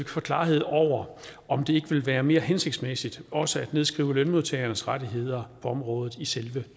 får klarhed over om det ikke ville være mere hensigtsmæssigt også at nedskrive lønmodtagernes rettigheder på området i selve